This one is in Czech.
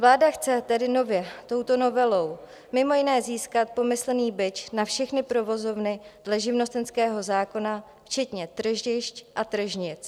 Vláda chce tedy nově touto novelou mimo jiné získat pomyslný bič na všechny provozovny dle živnostenského zákona včetně tržišť a tržnic.